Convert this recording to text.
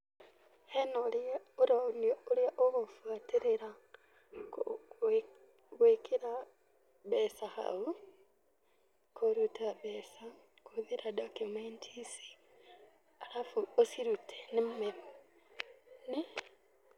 Hena ũrĩa ũronio ũrĩa ũgũbuatĩrĩra gwĩkĩra mbeca hau, kũruta mbeca kũhũthĩra document ici, arabu ũcirute.